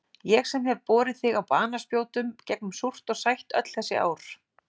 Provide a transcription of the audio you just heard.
Ég sem hef borið þig á banaspjótum gegnum súrt og sætt öll þessi ár.